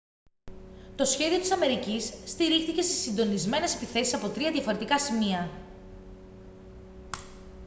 το σχέδιο της αμερικής στηρίχθηκε στις συντονισμένες επιθέσεις από τρία διαφορετικά σημεία